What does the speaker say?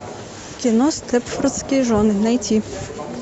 кино степфордские жены найти